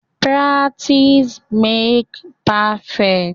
Practice makes perfect.